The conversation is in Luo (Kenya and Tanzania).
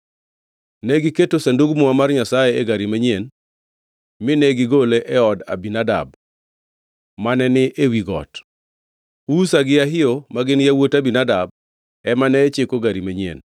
Negiketo Sandug Muma mar Nyasaye e gari manyien mine gigole e od Abinadab, mane ni ewi got. Uza gi Ahio, ma gin yawuot Abinadab, ema ne chiko gari manyien